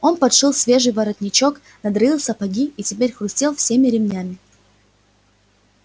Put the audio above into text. он подшил свежий подворотничок надраил сапоги и теперь хрустел всеми ремнями